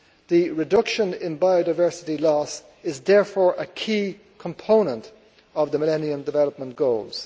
The reduction in biodiversity loss is therefore a key component of the Millennium Development Goals.